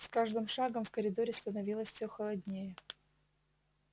с каждым шагом в коридоре становилось всё холоднее